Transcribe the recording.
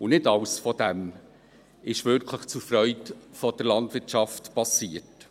Und nicht alles von dem ist wirklich zur Freude der Landwirtschaft passiert.